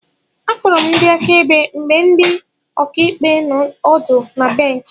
Akpọrọ ndị akaebe mgbe ndị ọkàikpe nọ ọdụ na bènchị